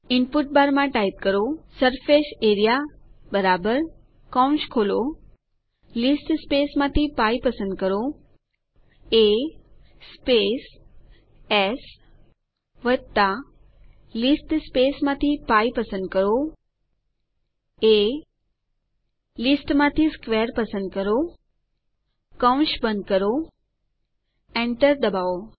input bar માં type A R E A એઆરઇએ π A S π એ² સર્ફેસિયરિયા કૌંસ ખોલો લીસ્ટ સ્પેસમાંથી π પસંદ કરો એ સ્પેસ એસ લીસ્ટ સ્પેસમાંથી π પસંદ કરો એ લીસ્ટમાંથી સ્ક્વેર પસંદ કરો કૌંસ બંધ કરો Enter ડબાઓ